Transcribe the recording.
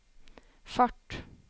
fart